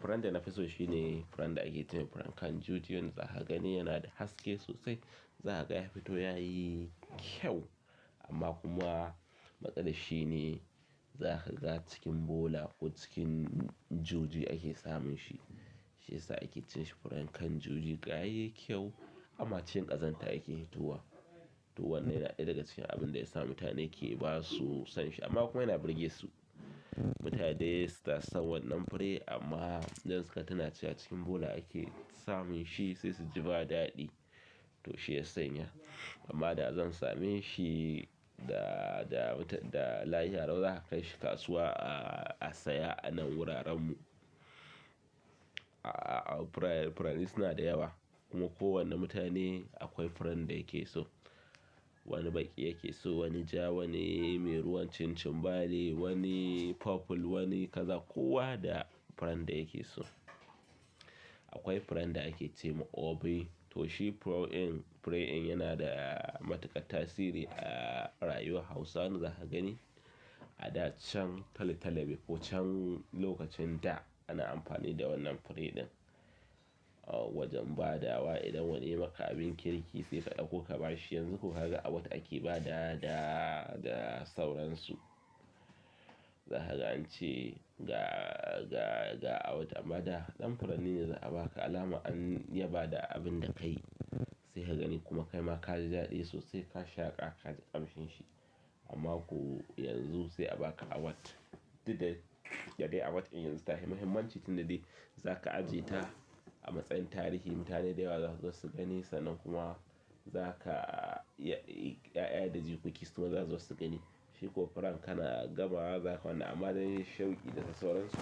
Furen da nafi so shine furen da ake cema furen kan juji, wanda za ka gani yana da haske sosai. Zakaga yafito yayi kyau amma kuma matsalar shine zaka ga cikin bola ko cikin juji ake samun shi shi yasa ake ce shi furen kan juji, ga yayi kyau amma cikin ƙazanta yake i hitowa. To wannan yana ɗaya daga cikin abinda yasa mutane ke ba su son shi amma kuma yana burge su. Mutane suna san wannan furen amma idan suka tuna cika cikin bola ake samun shi sai su ji ba daɗi to shi ya sanya. Amma da zan same shi da, da, da lahadi lau zaka kai shi kasuwa a, a saya a nan wuraren mu. A a a furen, furen suna da yawa kuma kowane mutane akwai furen da yake so. Wani baƙi yake so, wani ja, wani mai ruwan cin cinɓani, wani purple, wani kaza kowa da furen da yake so. Akwai furen da ake ce wa Obei, to shi furen, furen yana da matuƙar tasiri a rayuwar Hausawa. Za ka gani a da can tal-talane ko can lokacin da ana amfani da wannan furen ɗin, wajen badawa idan wani yai maka abin kirki yanzu ko kaga award ake badawa da da sauransu. Za ka ga an ce ga, ga, ga awat amma da ɗan furanni ne za a ba ka alama an ya ba da abin da ka yi. Se ka gani kuma kaima kaji daɗi sosai ka shaƙa ka ji ƙamshin shi amma ko yanzu se a ba ka awat. Didda da dai awat in yanzu ta hi mahimmanci tunda de za ka aje ta a matsayin tarihi. Mutane da yawa za su zo su gani sannan kuma za ka ya, ƴaƴa da jikoki su ma za su zo su gani. Shi ko furen ka na gama wa za ka wannan amma dai shauƙi da su sauransu.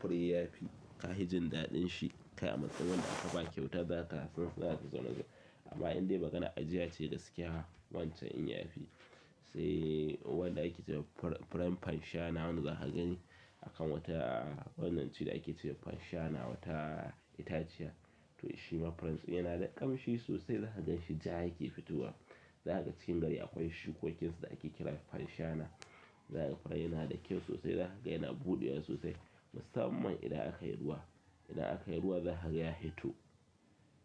Furen ya fi, ka hi jin daɗin shi. Kai a matsayin wanda aka ba kyauta za ka san za ka zauna gaba. Amma idan dai maganar ajiya ce gaskiya wancan in yafi. Sai wanda ake ce wa furen, furen fanshana wanda za ka gani akan wata wannan ce da ake ce wa fanshana wata itaciya. To shi ma furen suna yana da ƙamshi sosai. Za ka gan shi ja yake fitowa. Zakaga cikin gari akwai shukokinsa da ake kira fanshana. Za ka ga furen yana da kyau sosai. Za ka ga yana buɗewa sosai musamman idan aka yi ruwa. Idan aka yi ruwa za ka ga ya hito,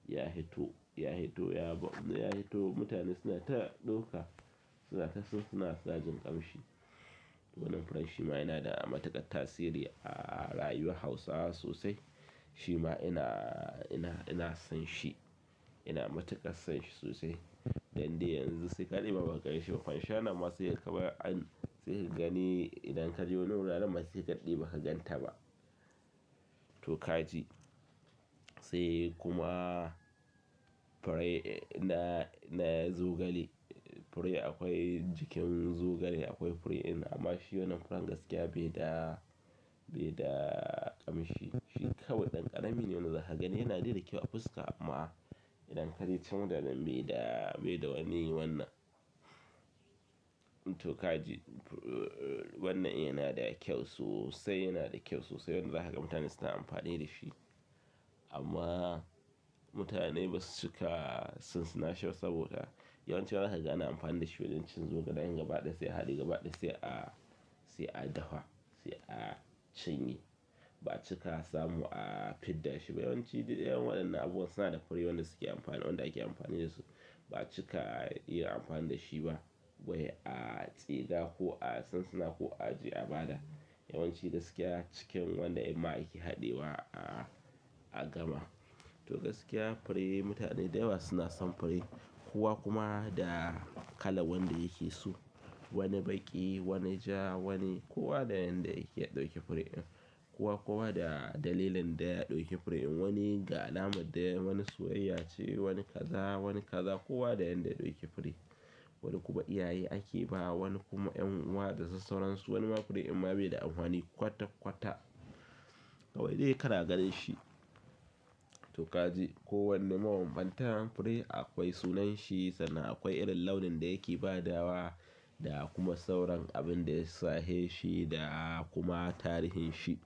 ya hito, ya hito, yaba. Ya hito mutane suna ta ɗauka suna taso suna sa jin ƙamshi. Wannan furen shi ma yana da matuƙar tasiri a rayuwar Hausawa sosai. Shi ma yana, yana, ina son shi. Ina matuƙar son shi sosai. Dan dai yanzu sai kaɗaɗe ma baka ganshi. Fanshana ma saikaga kamar an sai ka gani idan ka je wani wurare ma saika daɗe baka ganta ba. To ka ji. Sai kuma fure na, na zogale. Fure akwai jikin zogale akwai fure in amma shi wannan furen gaskiya bai da, bai da ƙamshi. Shi kawai ɗan ƙarami ne wanda za ka gani yana daida kyau a fuska amma idan ka je can daren bai da, bai da wani wannan. To ka ji. Wannnan yana da kyau sosai, yana da kyau sosai wanda za ka ga mutane suna amfani da shi. Amma mutane basu cika sinsina shi ba saboda yawanci za ka gani ana amfani da shi waɗancin zogale an yabaɗa sai a haɗe yabaɗa sai a, sai a dafa, sai a cinye. Ba'a cika samu a fidda shi ba. Yawanci duk de waɗannan abubuwan suna da fure wanda suke amfani, wanda ake amfani da su. Ba cika iya amfani da shi ba wai a tsiga ko a sinsina ko a ajiye, a bada. Yawancin gaskiya cikin wannan ʼyinma ake haɗewa a gama to gaskiya fure mutane da yawa suna son fure kowa kuma da kalar wanda yake so. Wani baƙi, wani ja, wani kowa da yanda yake ɗauke fure ɗin. Kowa, kowa da dalilin da ya ɗauke fure ɗin. Wani ga alamar da wani soyayya ce, wani kaza, wani kaza kowa da yanda ya ɗauki fure. Wani kuma iyaye ake ba wa wani kuma en'uwa da sassauransu. Wani ma fure imma bai da amfani kwata, kwata kawai dai kana ganin shi. To ka ji. Kowane mabambantan fure akwai sunan shi sannan akwai irin launin da yake ba dawa da kuma sauran abin da ya sahe shi da kuma tarihin shi.